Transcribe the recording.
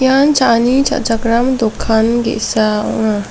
cha·ani cha·chakram dokan ge·sa ong·a.